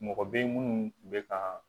Mɔgɔ bɛ ye minnu tun bɛ ka